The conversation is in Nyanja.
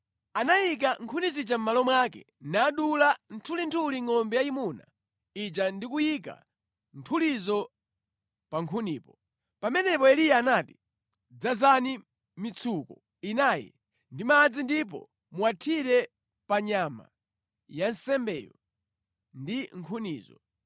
Anayika nkhuni zija mʼmalo mwake nadula nthulinthuli ngʼombe yayimuna ija ndi kuyika nthulizo pa nkhunipo. Pamenepo Eliya anati, “Dzazani mitsuko inayi ndi madzi ndipo muwathire pa nyama ya nsembeyo ndi nkhunizo.”